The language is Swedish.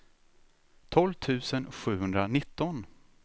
tolv tusen sjuhundranitton